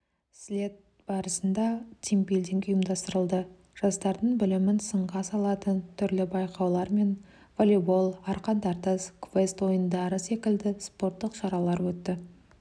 слет барысында тимбилдинг ұйымдастырылды жастардың білімін сынға салатын түрлі байқаулар мен волейбол арқан тартыс квест ойындары секілді спорттық шаралар өтті